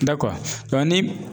Dakuwa ni.